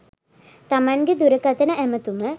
තමන්ගේ දුරකතන ඇමතුම